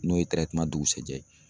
N'o ye dugusɛjɛ ye.